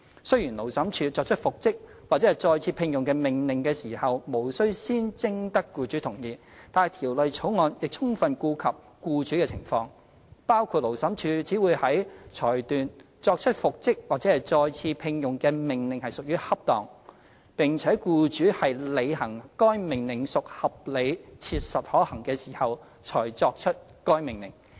雖然勞審處作出復職或再次聘用的命令時，無須先徵得僱主同意，但《條例草案》亦充分顧及僱主的情況，包括勞審處只會在裁斷作出復職或再次聘用的命令屬於恰當，並且僱主履行該命令屬合理切實可行時，才可作出該命令。